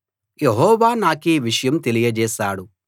యెహోవా నాకీ విషయం తెలియచేశాడు